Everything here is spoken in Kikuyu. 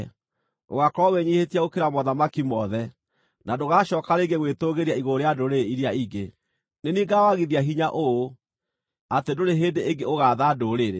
Ũgaakorwo wĩnyiihĩtie gũkĩra mothamaki mothe, na ndũgacooka rĩngĩ gwĩtũũgĩria igũrũ rĩa ndũrĩrĩ iria ingĩ. Nĩ niĩ ngaawagithia hinya ũũ atĩ ndũrĩ hĩndĩ ĩngĩ ũgaatha ndũrĩrĩ.